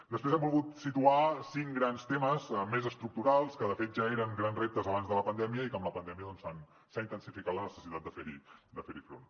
després hem volgut situar cinc grans temes més estructurals que de fet ja eren grans reptes abans de la pandèmia i que amb la pandèmia s’ha intensificat la necessitat de fer hi front